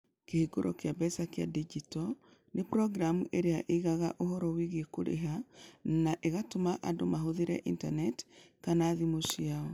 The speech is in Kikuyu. Kĩhũngĩro kĩa mbeca kĩa digito nĩ programu ĩrĩa ĩigaga ũhoro wĩgiĩ kũrĩha na ĩgatũma andũ mahũthĩre Intaneti kana thimũ ciao.